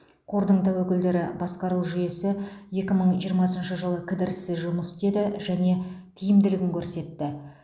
қордың тәуекелдерді басқару жүйесі екі мың жиырмасыншы жылы кідіріссіз жұмыс істеді және тиімділігін көрсетті